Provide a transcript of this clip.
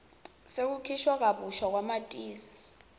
sekukhishwa kabusha kwamatisi